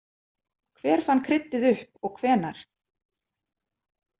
Hver fann kryddið upp og hvenær?